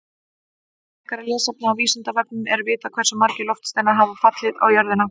Frekara lesefni á Vísindavefnum: Er vitað hversu margir loftsteinar hafa fallið á jörðina?